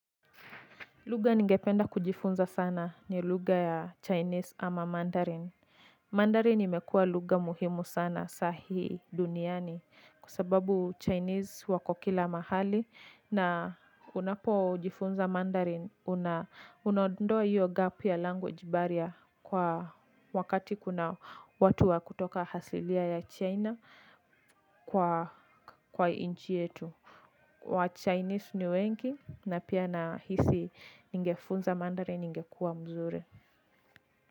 Lugha ningependa kujifunza sana ni lugha ya chinese ama mandarin. Mandarin imekua lugha muhimu sana sahii duniani kwa sababu Chinese wako kila mahali na unapojifunza mandarin. Unaondoa io gap ya language barrier kwa wakati kuna watu wa kutoka hasilia ya China kwa inchi yetu. WaChinese ni wengi na pia nahisi ningefunza mandarin ingekua mzuri.